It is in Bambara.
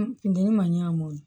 Funteni man ɲ'an ma